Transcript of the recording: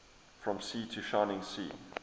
from sea to shining sea